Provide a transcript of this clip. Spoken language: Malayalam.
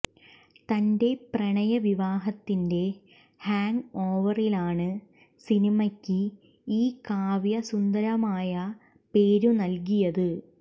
തന്റെ പ്രണയവിവാഹത്തിന്റെ ഹാങ്ങ് ഓവറിലാണ് സിനിമയ്ക്ക് ഈ കാവ്യ സുന്ദരമായപേരു നല്കിയത്